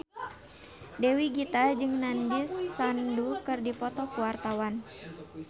Dewi Gita jeung Nandish Sandhu keur dipoto ku wartawan